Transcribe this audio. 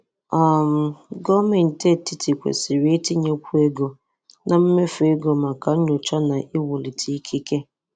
um Gọọmenti etiti kwesịrị itinyekwuo ego na mmefu ego maka nnyocha na iwulite ikike.